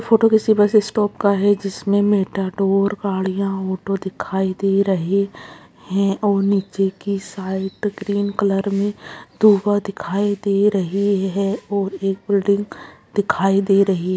Photo किसी bus stop का है जिसमें मेटाडोर गाड़ियां ऑटो दिखाई दे रहे है और नीचे की साइड ग्रीन कलर में दूभा दिखाई दे रही है और एक बिल्डिंग दिखाई दे रही है।